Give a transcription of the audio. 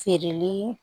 Feereli